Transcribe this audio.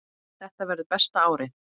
Þetta verður besta árið.